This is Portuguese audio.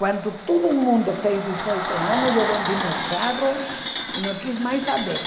Quando todo mundo fez dezoito anos, eu vendi meu carro e não quis mais saber.